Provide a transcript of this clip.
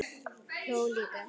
Hló líka.